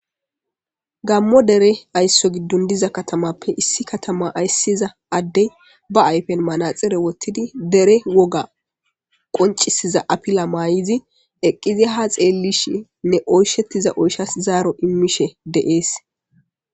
gammo dere aysso giddon diza katamappe issi katama ayssiza addey ba ayfen manaxire wottidi dere woga qoncisiza apila maay7izi eqqizi ha xeellishi nne oyshettiza oyshas zaaro immishe deees